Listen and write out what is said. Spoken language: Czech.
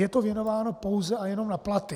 Je to věnováno pouze a jenom na platy.